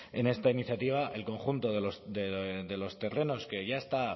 en esta iniciativa el conjunto de los terrenos que ya está